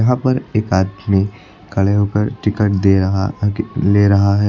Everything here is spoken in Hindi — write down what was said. वहां पर एक आदमी खड़े होकर टिकट दे रहा कि ले रहा है।